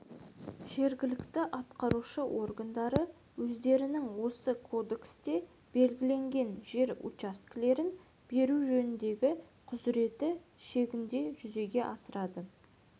жергілікті атқарушы органдары өздерінің осы кодексте белгіленген жер учаскелерін беру жөніндегі құзыреті шегінде жүзеге асырады